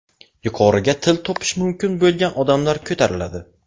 Yuqoriga til topish mumkin bo‘lgan odamlar ko‘tariladi.